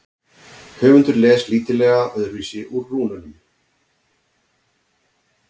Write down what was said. höfundur les lítillega öðruvísi úr rúnunum